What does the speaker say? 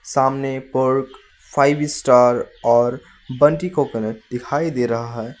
सामने Perk five star और Bounty coconut दिखाई दे रहा है।